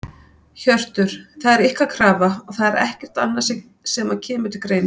Hjörtur: Það er ykkar krafa og það er ekkert annað sem að kemur til greina?